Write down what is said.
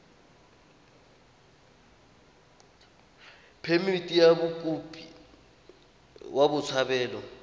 phemithi ya mokopi wa botshabelo